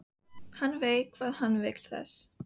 Hann veit hvað hann vill þessi!